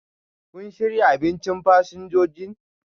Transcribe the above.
kun shirya abinchin fasinjojin?